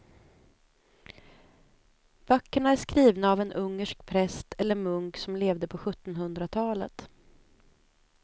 Böckerna är skrivna av en ungersk präst eller munk som levde på sjuttonhundratalet.